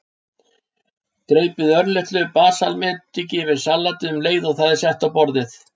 Dreypið örlitlu balsamediki yfir salatið um leið og það er sett á borðið.